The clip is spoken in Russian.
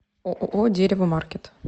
ооо дерево маркет